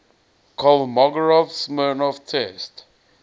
kolmogorov smirnov test